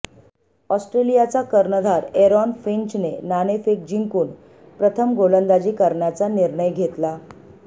ऑस्ट्रेलियाचा कर्णधार एरॉन फिंचने नाणेफेक जिंकून प्रथम गोलंदाजी करण्याचा निर्णय घेतला